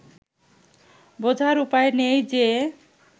বোঝার উপায় নেই যে